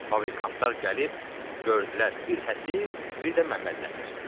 Fabrikantlar gəlib, gördülər bir Həsir, bir də Məmmədnəsir.